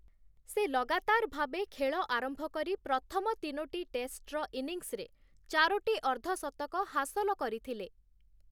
ସେ ଲଗାତାର ଭାବେ ଖେଳ ଆରମ୍ଭ କରି ପ୍ରଥମ ତିନୋଟି ଟେଷ୍ଟର ଇନିଂସରେ ଚାରୋଟି ଅର୍ଦ୍ଧଶତକ ହାସଲ କରିଥିଲେ ।